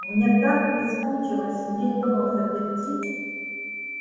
мне так прискучило сидеть дома взаперти